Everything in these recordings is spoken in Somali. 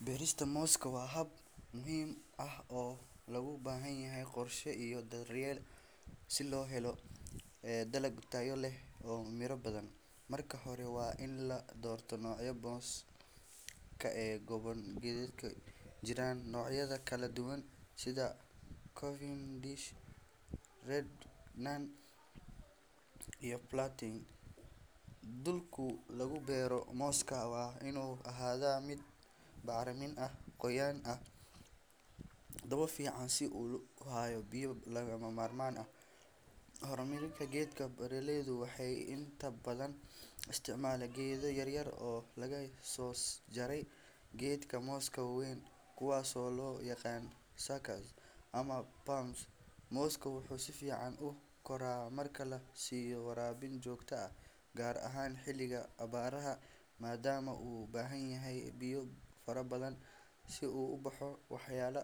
Berista moska wa hab muhim ah oo lobahanyanyahyh iyo daryel oo lohalo dalag tayo leh oo miro badhan marki hore wa ini ladorto nocyo badhan kaegoban gedadka jiran nocyadakaladuban sidha covin dish, red noon , platin dulka lagubero moska waa inu ahada mid bacrimin ah qoyan ah dabo fican si uhayo biyo lagama marman ah, hormarinta gedka beraleydu waxay inta badhan istacman gedo yaryar oo lagasojare gedka moska waweyn kuwas oo loyaqano saka ama [pums moska, wuxu sifican ukora marki oo lasiyo warabin jogto ah gar ahan xiliga abaraha madam uu ubahanyahy biyo fara badhan si uu uboxo waxyalo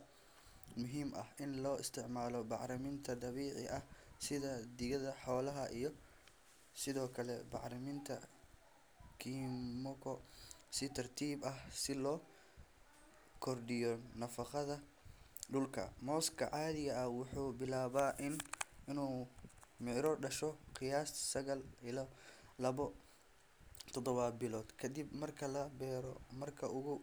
muhim ah ini loo istaccmalo bacriminta dabici ah sidha digadha xolaha iyo, sidiokale bacriminta, kimuqdo si tartib ah sii lo kordiyo nafaqada dulka moska cadhiga ah wuxu bilaba inu mira dasho qiyasta labo dodoba bilad kadib marka labero marka.